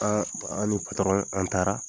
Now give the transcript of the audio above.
An an ni patɔrɔn an taara